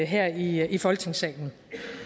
her i i folketingssalen